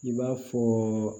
I b'a fɔ